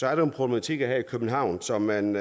er nogle problematikker som man